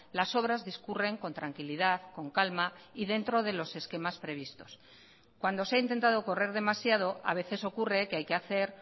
las obras discurren con tranquilidad con calma y dentro de los esquemas previstos cuando se ha intentado correr demasiado a veces ocurre que hay que hacer